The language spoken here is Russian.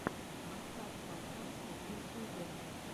поставь подкасты в ютюбе